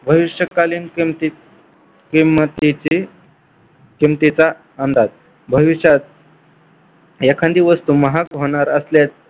भविष्यकालीन किमतीत किमतीची किमतीचा अंदाज भविष्यात एखादी वस्तू महाग होणार असल्यास